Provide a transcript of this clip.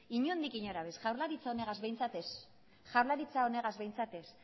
inondik inora ez jaurlaritza honegaz ez jaurlaritza honegaz behitzat ez